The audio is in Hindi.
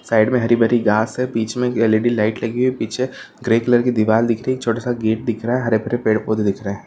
साइड में हरी-भरी घास से बीच में की एलइडी लाइट लगी है पीछे ग्रे कलर की दीवाल दिख रही है छोटा-सा गेट दिख रहा है हरे-भरे पेड़-पौधे दिख रहा है।